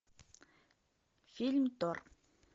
фильм тор